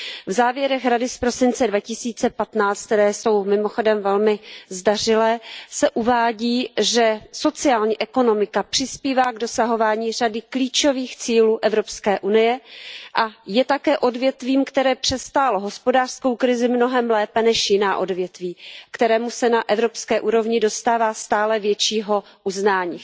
V závěrech Rady z prosince 2015, které jsou mimochodem velmi zdařilé, se uvádí, že sociální ekonomika přispívá k dosahování řady klíčových cílů EU a je také odvětvím, které přestálo hospodářskou krizi mnohem lépe než jiná odvětví a kterému se na evropské úrovni dostává stále většího uznání.